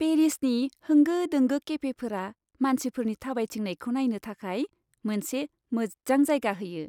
पेरिसनि होंगो दोंगो केफेफोरा मानसिफोरनि थाबायथिंनायखौ नायनो थाखाय मोनसे मोजां जायगा होयो।